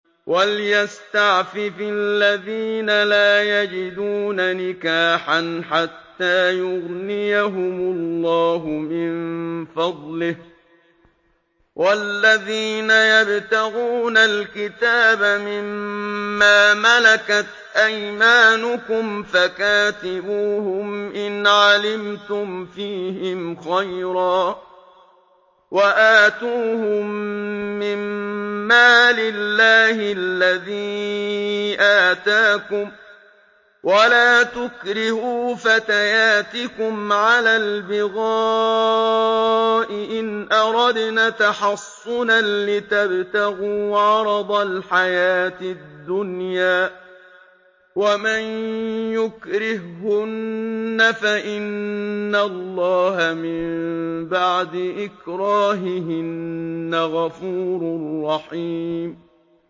وَلْيَسْتَعْفِفِ الَّذِينَ لَا يَجِدُونَ نِكَاحًا حَتَّىٰ يُغْنِيَهُمُ اللَّهُ مِن فَضْلِهِ ۗ وَالَّذِينَ يَبْتَغُونَ الْكِتَابَ مِمَّا مَلَكَتْ أَيْمَانُكُمْ فَكَاتِبُوهُمْ إِنْ عَلِمْتُمْ فِيهِمْ خَيْرًا ۖ وَآتُوهُم مِّن مَّالِ اللَّهِ الَّذِي آتَاكُمْ ۚ وَلَا تُكْرِهُوا فَتَيَاتِكُمْ عَلَى الْبِغَاءِ إِنْ أَرَدْنَ تَحَصُّنًا لِّتَبْتَغُوا عَرَضَ الْحَيَاةِ الدُّنْيَا ۚ وَمَن يُكْرِههُّنَّ فَإِنَّ اللَّهَ مِن بَعْدِ إِكْرَاهِهِنَّ غَفُورٌ رَّحِيمٌ